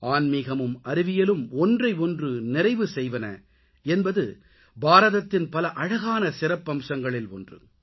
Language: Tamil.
ஆன்மிகமும் அறிவியலும் ஒன்றை ஒன்று நிறைவு செய்வது என்பது பாரதத்தின் பல அழகான சிறப்பம்சங்களில் ஒன்று